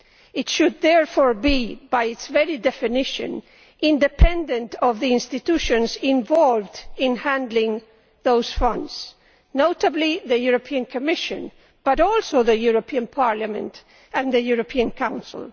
It should there be, by its very definition, independent of the institutions involved in handling those funds notably the European Commission, but also the European Parliament and the European Council.